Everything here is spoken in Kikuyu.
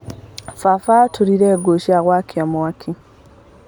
Baba atũrire ngũ cia gwakia mwaki.